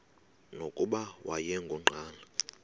nokuba wayengu nqal